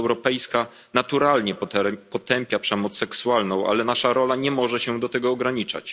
Unia Europejska naturalnie potępia przemoc seksualną, ale nasza rola nie może się do tego ograniczać.